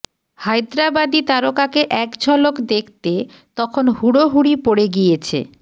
হায়দরাবাদি তারকাকে একঝলক দেখতে তখন হুড়োহুড়ি পড়ে গিয়েছে